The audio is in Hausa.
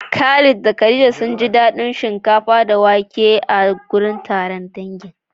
Khalid da khadija sunji daɗin abinci shinkafa da wake a wajen taron dangi.